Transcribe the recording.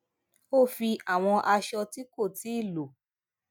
ó fi àwọn aṣọ ti ko tii lò